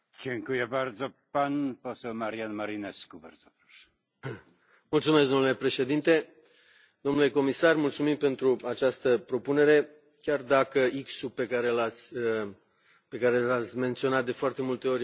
Domnule președinte, domnule comisar, mulțumim pentru această propunere, chiar dacă X ul pe care l ați menționat de foarte multe ori în ultima vreme peste 1,1 este la cel mai jos nivel.